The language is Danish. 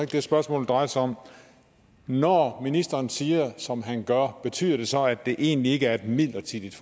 det spørgsmålet drejer sig om når ministeren siger som han gør betyder det så at det egentlig ikke er et midlertidigt